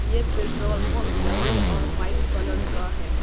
ये petrol pump yellow और white colour का है।